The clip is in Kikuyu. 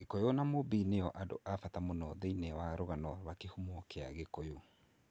Gikuyu na Mumbi nĩo andũ a bata mũno thĩinĩ wa rũgano rwa kĩhumo kĩa Kikuyu.